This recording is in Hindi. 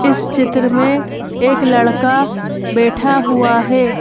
इस चित्र में एक लड़का बैठा हुआ है।